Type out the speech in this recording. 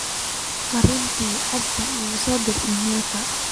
fariin teh abdi igu soo direy imaylka